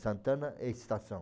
Santana é estação.